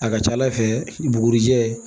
A ka ca ala fɛ bugurijɛ